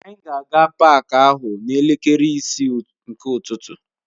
Anyị ga-aga paak ahụ n'elekere isii nke ụtụtụ.